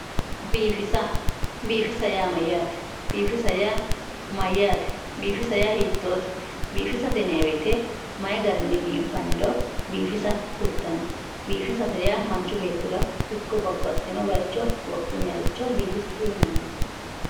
Biifissa, biifissa yaa mayyate ,biifissa yaa hiittote, biifissate yinanni woyte mayi garinni biinfanniro biifissa kultano ,biifissate yaa manchu beettira hakko babbaxxino bayicho wodhinanniricho biifissate yinanni